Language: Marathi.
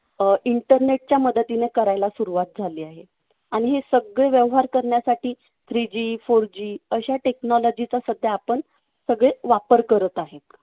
अं internet च्या मदतीने करायला सुरुवात झाली आहे. आणि हे सगळे व्यवहार करण्यासाठी three G four G अशा technology चा सध्या आपण सगळे वापर करत आहेत.